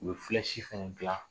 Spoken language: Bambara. U bɛ filɛsi fana dilan.